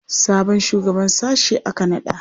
Sabon shugaban sashe aka naɗa?